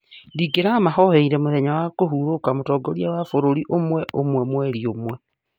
Ndĩ gĩramahoere mithenya ya kũhurũka mũtongoria wa bũrũri ũmwe umwe mweri ũmwe.